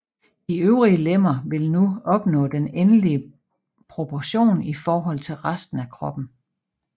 De øvre lemmer vil nu opnå den endelige proportion i forhold til resten af kroppen